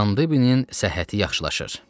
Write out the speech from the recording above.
Kandibin səhhəti yaxşılaşır.